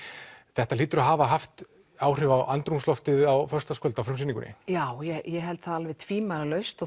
þetta hlýtur að hafa haft áhrif á andrúmsloftið á föstudagskvöld á frumsýningunni já ég held það alveg tvímælalaust og